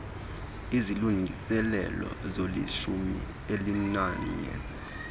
izilungiselele zolishumi elinanye